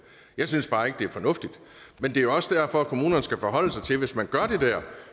jeg synes bare ikke det er fornuftigt men det er også derfor kommunerne skal forholde sig til at hvis man gør det der